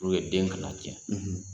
den kana na tiɲɛ.